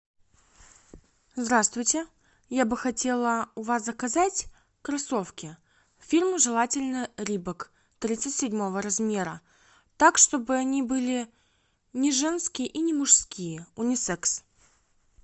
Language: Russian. здравствуйте я бы хотела у вас заказать кроссовки фирмы желательно рибок тридцать седьмого размера так чтобы они были не женские и не мужские унисекс